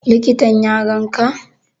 Likitan ya ganka?